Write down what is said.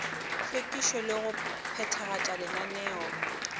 hlwekišo le go phethagatša lenaneo